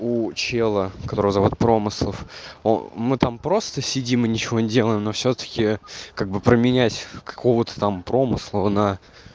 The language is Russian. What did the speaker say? у чела которого зовут промыслов о мы там просто сидим и ничего не делаем но всё-таки как бы променять какого-то там промысла на